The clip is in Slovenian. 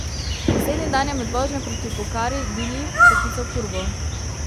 Naslednji dan je med vožnjo proti Pokari Dilip poklical Purbo.